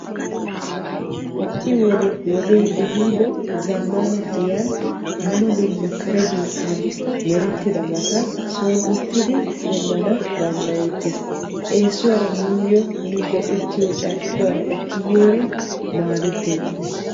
ha"i wode wodee ehiido zammaana giyan dumma dumma kare biittan merettidabata son uttidi demmana danddayettes. eesuwara nuyyo nu go'ettiyo carkkuwaara ekki biyoorin maadetteettes.